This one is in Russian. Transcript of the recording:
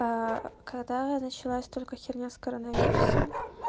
аа когда началась только херня с коронавирусом